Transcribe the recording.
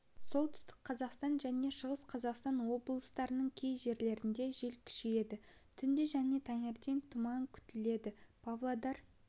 солтүстік қазақстан және шығыс қазақстан облыстарының кей жерлерінде жел күшейеді түнде және таңертең тұман күтіледі павлодар